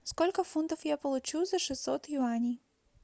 сколько фунтов я получу за шестьсот юаней